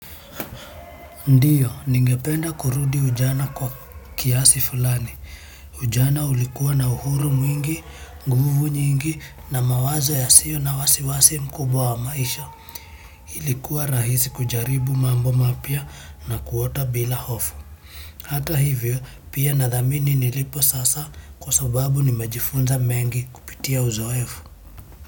Ndiyo, ningependa kurudi ujana kwa kiasi fulani. Ujana ulikuwa na uhuru mwingi, nguvu nyingi na mawazo yasiyo na wasiwasi mkubwa wa maisha. Ilikuwa rahisi kujaribu mambo mapya na kuota bila hofu. Hata hivyo, pia nathamini nilipo sasa kwa sababu nimejifunza mengi kupitia uzoefu.